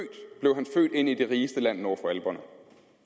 ind i det rigeste land nord for alperne